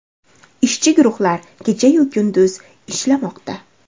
Ishchi guruhlar kecha-yu kunduz ishlamoqda.